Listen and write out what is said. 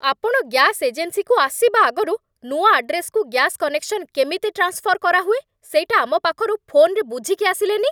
ଆପଣ ଗ୍ୟାସ୍ ଏଜେନ୍ସିକୁ ଆସିବା ଆଗରୁ ନୂଆ ଆଡ୍ରେସ୍‌କୁ ଗ୍ୟାସ୍ କନେକ୍ସନ୍ କେମିତି ଟ୍ରାନ୍ସଫର୍ କରାହୁଏ ସେଇଟା ଆମ ପାଖରୁ ଫୋନ୍‌ରେ ବୁଝିକି ଆସିଲେନି!